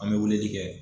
An bɛ weleli kɛ